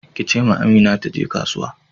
Ki ce ma Amina taje kasuwa.